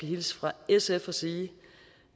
hilse fra sf og sige